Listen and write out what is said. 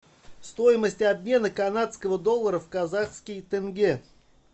стоимость обмена канадского доллара в казахский тенге